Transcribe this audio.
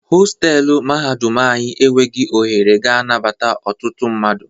Hostelụ mahadum anyi enweghị ohere ga anabata ọtụtụ mmadụ.